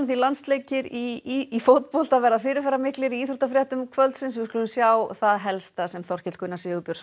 landsleikir í fótbolta verða fyrirferðarmiklir í íþróttafréttum kvöldsins við skulum sjá það helsta sem Þorkell Gunnar Sigurbjörnsson